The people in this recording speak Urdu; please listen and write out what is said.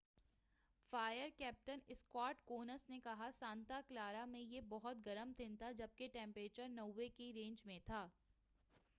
فائر کیپٹن اسکاٹ کونس نے کہا سانتا کلارا میں یہ بہت گرم دن تھا جب کہ ٹمپریچر 90 کے رینج میں تھا